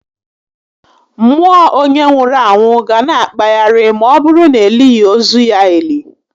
Mmụọ onyé nwụrụ anwụ ga na akpagharị ma ọbụrụ na elighi ozu ya eli